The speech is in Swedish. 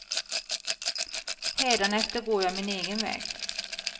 Hädanefter går jag min egen väg.